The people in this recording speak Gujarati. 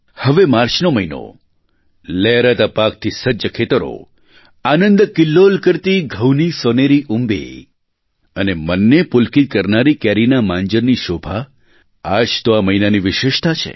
હવે માર્ચનો મહિનો લહેરાતા પાકથી સજ્જ ખેતરો આનંદકિલ્લોલ કરતી ઘઉંની સોનેરી ઉંબી અને મનને પુલકિત કરનારી કેરીના માંજરની શોભા આ જ તો આ મહિનાની વિશેષતા છે